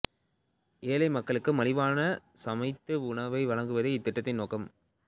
ஏழை மக்களுக்கு மலிவான சமைத்த உணவை வழங்குவதே இத்திட்டத்தின் நோக்கம்